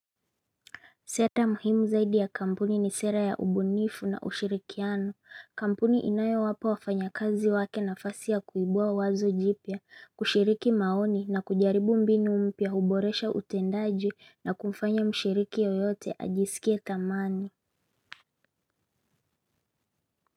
Seta muhimu zaidi ya kampuni ni sera ya ubunifu na ushirikiano. Kampuni inayowapa wafanyakazi wake nafasi ya kuibua wazo jipya, kushiriki maoni na kujaribu mbinu mpya huboresha utendaji na kumfanya mshiriki yoyote ajisikie thamani.